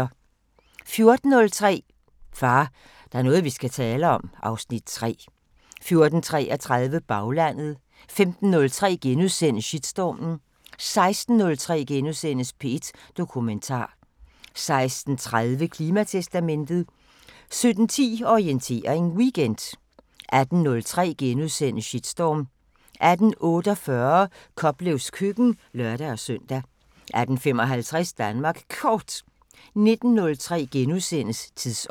14:03: Far, der er noget vi skal tale om (Afs. 3) 14:33: Baglandet 15:03: Slotsholmen * 16:03: P1 Dokumentar * 16:30: Klimatestamentet 17:10: Orientering Weekend 18:03: Shitstorm * 18:48: Koplevs køkken (lør-søn) 18:55: Danmark Kort 19:03: Tidsånd *